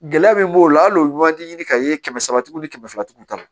Gɛlɛya min b'o la hal'o man di ka ye kɛmɛ saba tigiw ni kɛmɛ fila tigiw ta